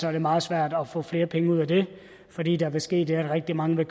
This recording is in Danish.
er det meget svært at få flere penge ud af det fordi der vil ske det at rigtig mange vil